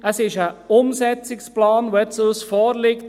Es ist ein Umsetzungsplan, der uns nun vorliegt.